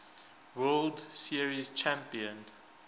world series champion